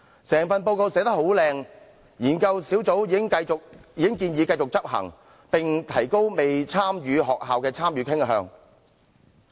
整份報告寫得美輪美奐之餘，研究小組也已經建議繼續執行該計劃，並且會提高未參與學校的參與慾。